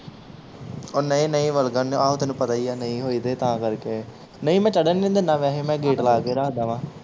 ਓਹ ਨਹੀਂ ਨਹੀਂ ਵਲਗਣ ਆਹੋ ਤੈਨੂੰ ਪਤਾ ਹੀ ਆ ਨਹੀਂ ਹੋਈ ਤੇ ਤਾਂ ਕਰਕੇ ਨਹੀਂ ਮੈਂ ਚੜਨ ਹੀ ਨਹੀਂ ਦਿਨਾ ਵੈਸੇ ਮੈਂ ਗੇਟ ਲਾ ਕੇ ਰੱਖਦਾ ਵਾਂ।